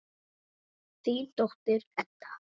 Þín dóttir, Edda.